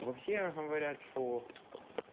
вообще говорят что